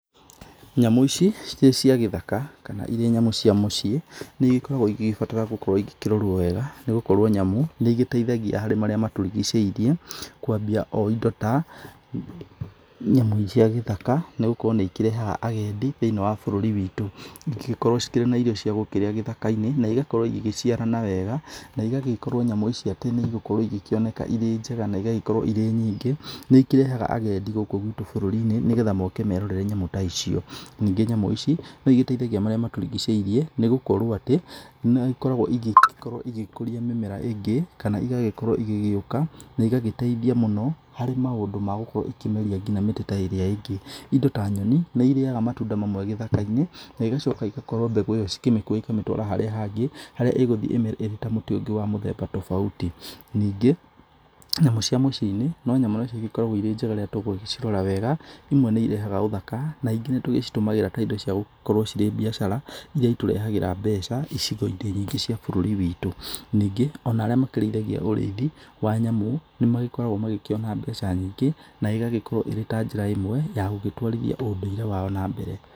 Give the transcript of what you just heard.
Nyamũ ici cirĩ cia gĩthaka kana irĩ nyamũ cia mũciĩ nĩigĩkoragwo ĩgĩbatara gũkorwo ikĩrorwo wega nĩgũkorwo nyamũ nĩigĩteithagia harĩ marĩa matũrigicĩirie kwambia o indo ta nyamũ cia gĩthaka nĩgũkorwo nĩikĩrehaga agendi thĩiniĩ wa bũrũri witũ. Ĩngĩgĩkorwo cikĩrĩ na irio cia gũkĩrĩa gĩthaka-inĩ na ĩgakorwo ĩgĩciarana wega na ĩgagĩkorwo nyamũ ici atĩ niĩgũkorwo igĩkioneka irĩ njega na igagĩkorwo irĩ nyingĩ nĩikĩrehaga agendi gũkũ gwitũ bũrũri-inĩ nĩgetha moke merorere nyamũ ta icio. Ningĩ nyamũ ici nĩigĩteithagĩa marĩa matũrigicĩirie nĩgũkorwo atĩ nĩigĩkoragwo ĩgĩkũria mĩmera ĩngĩ kana igagĩkorwo igĩgwoka na igagĩteithia mũno harĩ maũndũ ma gũkorwo ikĩmeria ngina mĩtĩ irĩa ingĩ. Indo ta nyoni nĩ irĩyaga matunda mamwe gĩthaka-inĩ na igacoka ĩgakorwo mbegũ ĩyo cikĩmĩkuwa ikamĩtwara harĩa hangĩ harĩa ĩgũthiĩ ĩmere ta mũtĩ ũngĩ wa mũthemba tofauti. Ningĩ nyamũ cia mũciĩ-inĩ no nyamũ nacio igĩkoragwo irĩ njega rĩrĩa tũgũcirora wega. Imwe nĩ irehaga ũthaka na ingĩ nĩ tũgĩcitũmagĩra ta indo ciagũgĩkorwo cirĩ biacara irĩa itũrehagĩra mbeca icigo-inĩ nyingĩ cia bũrũri witũ. Ningĩ ona makĩrĩithagia ũrĩithi wa nyamũ nĩ magĩkoragwo magĩkĩona mbeca nyingĩ na ĩgagĩkorwo irĩ ta njĩra imwe ya gũgĩtwarithia ũndũire wao na mbere.